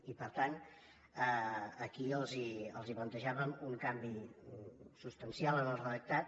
i per tant aquí els plantejàvem un canvi substancial en el redactat